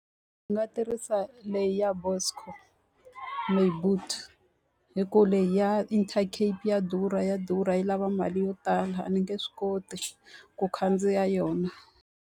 Ndzi nga tirhisa leyi ya Buscor, My Boet hi ku leyi ya Intercape ya durha ya durha yi lava mali yo tala, a ni nge swi koti ku khandziya yona.